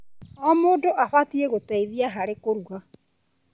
O mũndũ abatiĩ gũteithia harĩ kũruga.